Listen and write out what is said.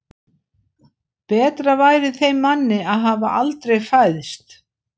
Betra væri þeim manni að hafa aldrei fæðst.